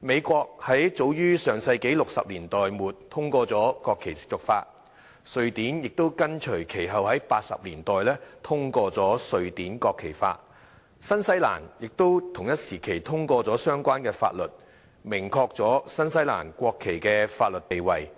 美國早於上世紀60年代末通過了"國旗褻瀆法"；瑞典亦緊隨其後，在1980年代通過《瑞典國旗法》；新西蘭亦在同一時期通過相關法律，明確了新西蘭國旗的法律地位，